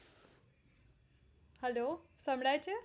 hello સંભળાય છે